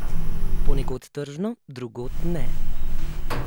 Ponekod tržno, drugod ne.